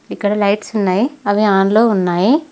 ఇక్కడ లైట్స్ ఉన్నాయి అవి ఆన్ లో ఉన్నాయి.